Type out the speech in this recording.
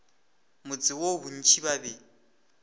motse woo bontši ba be